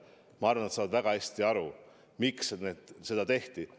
Ma arvan, et noored saavad väga hästi aru, miks see otsus tehti.